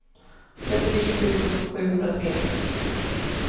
trettionio tusen sjuhundratre